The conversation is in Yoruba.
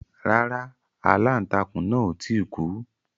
Rárá. Aláǹtakùn náà ò tí ì kú.